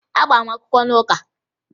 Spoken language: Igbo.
Agbara m akwụkwọ n'ụka